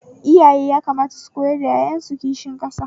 Iyaye yakamata su koyar da ƴaƴan su kishin ƙasa